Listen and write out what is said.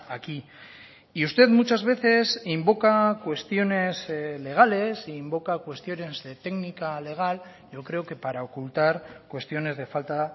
aquí y usted muchas veces invoca cuestiones legales e invoca cuestiones de técnica legal yo creo que para ocultar cuestiones de falta